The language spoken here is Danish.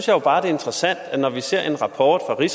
jo bare det er interessant når vi ser rapporten